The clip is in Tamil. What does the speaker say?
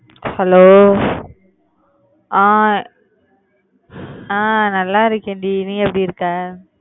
hello ஆஹ் அஹ் நல்லா இருக்கேன்டி. நீ எப்படி இருக்க?